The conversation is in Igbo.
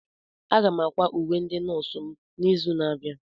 Aga m ákwà uwe ndị nọọsụ m n'izu na-abịa.